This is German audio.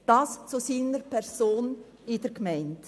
Dies zu seiner Person im Rahmen des Gemeinderats.